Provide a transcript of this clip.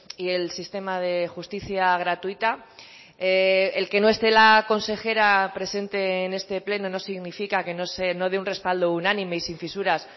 y el sistema de justicia gratuita el que no esté la consejera presente en este pleno no significa que no dé un respaldo unánime y sin fisuras